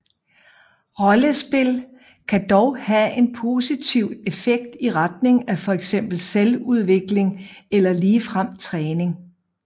Rollespil kan dog have en positiv effekt i retning af fx selvudvikling eller ligefrem træning